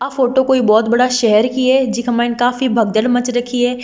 आ photo कोई बोहोत बड़ा शहर की है जिका माइन काफी भगदड़ मच रखी है।